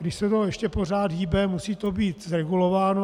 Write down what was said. Když se to ještě pořád hýbe, musí to být zregulováno.